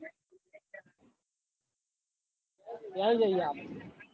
હા ભાઈ